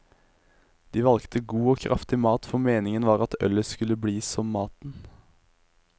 De valgte god og kraftig mat, for meningen var at ølet skulle bli som maten.